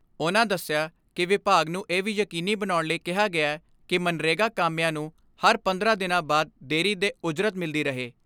ਉਨ੍ਹਾਂ ਦਸਿਆ ਕਿ ਵਿਭਾਗ ਨੂੰ ਇਹ ਵੀ ਯਕੀਨੀ ਬਣਾਉਣ ਲਈ ਕਿਹਾ ਗਿਐ ਕਿ ਮਗਨਰੇਗਾ ਕਾਮਿਆਂ ਨੂੰ ਹਰ ਪੰਦਰਾਂ ਦਿਨਾਂ ਬਾਅਦ ਬਿਨਾਂ ਦੇਰੀ ਦੇ ਉਜਰਤ ਮਿਲਦੀ ਰਹੇ।